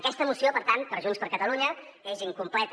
aquesta moció per tant per junts per catalunya és incompleta